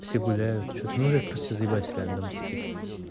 все гуляют что-то ну уже просто все заебались реально дома сидеть